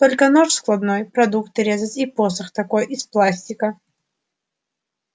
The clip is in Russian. только нож складной продукты резать и посох такой из пластика